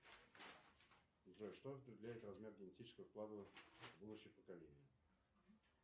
джой что определяет размер генетического вклада в будущее поколение